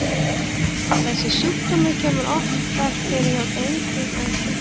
Þessi sjúkdómur kemur oftar fyrir hjá drengjum en stúlkum.